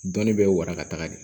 Dɔnni bɛ warakata de